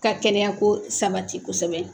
Ka kɛnɛya ko sabati kosɛbɛ